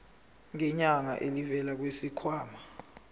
ngenyanga elivela kwisikhwama